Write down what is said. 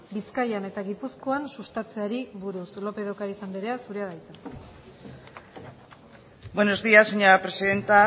bizkaian eta gipuzkoan sustatzeari buruz lópez de ocariz andrea zurea da hitza buenos días señora presidenta